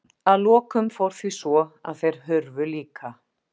Að lokum fór því svo að þeir hurfu líka.